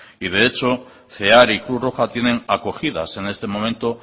y de hecho cear y cruz roja tienen acogidas en este momento